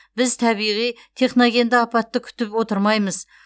біз табиғи техногенді апатты күтіп отырмаймыз